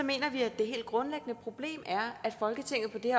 mener vi at det helt grundlæggende problem er at folketinget på det